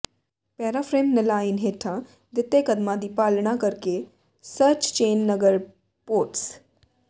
paraphrase online ਹੇਠਾਂ ਦਿੱਤੇ ਕਦਮਾਂ ਦੀ ਪਾਲਣਾ ਕਰਕੇ ਸਰਚਚੇਨਗਰਪੋਰਟਸ